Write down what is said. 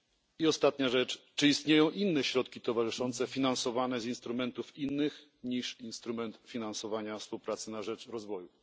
I na zakończenie czy istnieją inne środki towarzyszące finansowane z instrumentów innych niż instrument finansowania współpracy na rzecz rozwoju?